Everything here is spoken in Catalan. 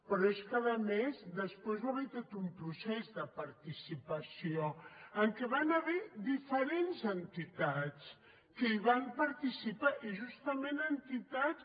però és que a més després hi va haver tot un procés de participació en què hi va haver diferents entitats que hi van participar i justament entitats